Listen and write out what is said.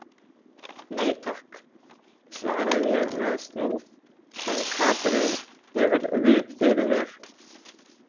Nei, takk, svara ég með snúð en Katrín hefur vit fyrir mér.